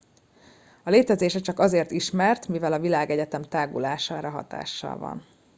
a létezése csak azért ismert mivel a világegyetem tágulására hatással van